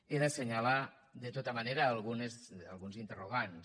he d’assenyalar de tota manera alguns interrogants